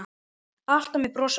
Alltaf með bros á vör.